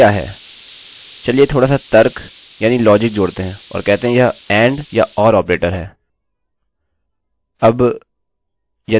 logical operator क्या है चलिए थोडासा तर्क यानि लोजिक जोड़ते हैं और कहते हैं यह and या or ऑपरेटर है